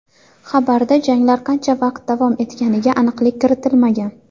Xabarda janglar qancha vaqt davom etganiga aniqlik kiritilmagan.